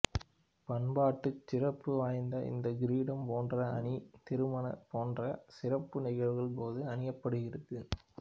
பண்பாட்டுச் சிறப்பு வாய்ந்த இந்தக் கிரீடம் போன்ற அணி திருமணம் போன்ற சிறப்பு நிகழ்வுகளின் போது அணியப்படுகிறது